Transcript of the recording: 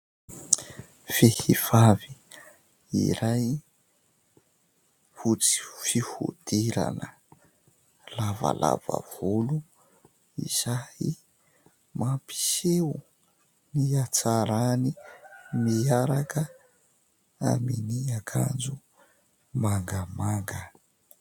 Vehivavy iray fotsy fihodirana, lavalava volo, izay mampiseho ny hatsarany miaraka amin'ny akanjo mangamanga.